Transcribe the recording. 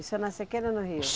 Isso é na sequeira ou no rio?